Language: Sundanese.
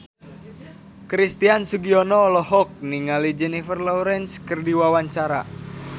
Christian Sugiono olohok ningali Jennifer Lawrence keur diwawancara